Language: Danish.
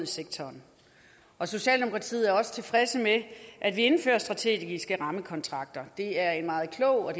sektoren og socialdemokratiet er også tilfreds med at der indføres strategiske rammekontrakter det er en meget klog og